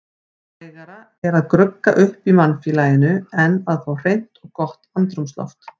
Hægara er að grugga upp í mannfélaginu en að fá hreint og gott andrúmsloft.